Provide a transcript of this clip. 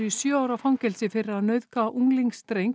sjö ára fangelsi fyrir að nauðga